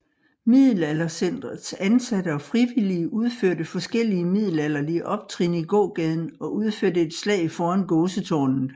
Middelaldercentrets ansatte og frivillige udførte forskellige middelalderlige optrin i gågaden og udførte et slag foran Gåsetårnet